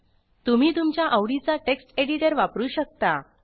तुम्ही तुमच्या आवडीचा टेक्स्ट एडिटर वापरू शकता